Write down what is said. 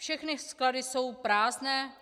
Všechny sklady jsou prázdné.